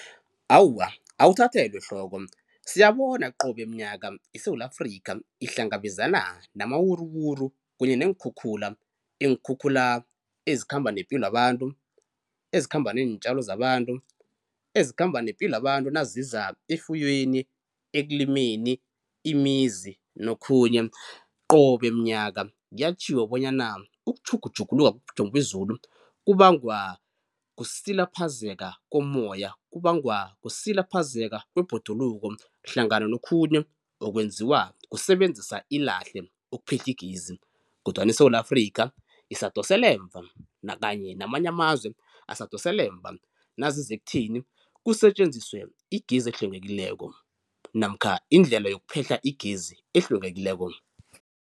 Awa, awuthathelwa ehloko siyabona qobe mnyaka iSewula Afrikha ihlangabezana namawuruwuru kunye neenkhukhula. Iinkhukhula ezikhamba nepilo yabantu, ezikhamba neentjalo zabantu, ezikhamba nepilo yabantu nazizako efuyweni, ekulimeni, imizi nokhunye. Qobe mnyaka kuyatjhiwo bonyana ukutjhugutjhuguluka kobujamo bezulu kubangwa kusilaphazeka komoya, kubangwa kusilaphazeka kwebhoduluko hlangana nokhunye okwenziwa kusebenzisa ilahle ukuphehla igezi kodwana iSewula Afrikha isadosela emva nakanye namanye amazwe asadosela emva naziza ukutheni kusetjenziswe igezi ehlwengekileko namkha indlela yokuphehla igezi ehlwengekileko.